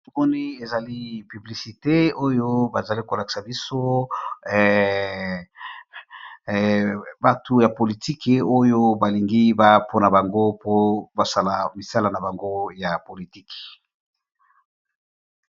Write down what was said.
Namoni ezali publicité oyo bazali kolakisa biso batu ya politiki, oyo balingi ba mpona bango po basala misala na bango ya politiki.